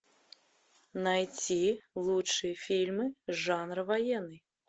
найти лучшие фильмы жанра военный